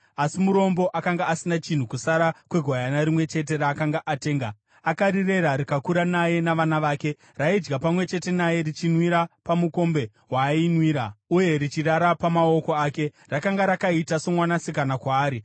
asi murombo akanga asina chinhu kusara kwegwayana rimwe chete raakanga atenga. Akarirera, rikakura naye navana vake. Raidya pamwe chete naye, richinwira pamukombe waayinwira, uye richirara pamaoko ake. Rakanga rakaita somwanasikana kwaari.